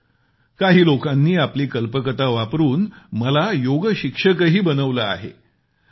मात्र काही लोकांनी आपली कल्पकता वापरून मला योगशिक्षकही बनवले आहे